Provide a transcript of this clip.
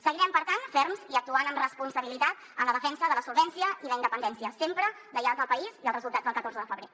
seguirem per tant ferms i actuant amb responsabilitat en la defensa de la solvència i la independència sempre lleials al país i als resultats del catorze de febrer